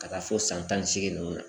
Ka taa fo san tan ni seegin nunnu na